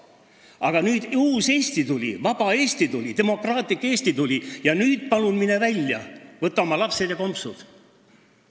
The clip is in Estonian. Aga nüüd on meil uus Eesti, vaba Eesti, demokraatlik Eesti, nüüd palun mine välja, võta oma lapsed ja kompsud!